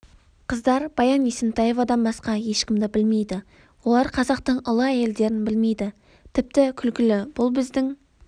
қыздар баян есентаевадан басқа ешкімді білмейді олар қазақтың ұлы әйелдерін білмейді тіпті күлкілі бұл біздің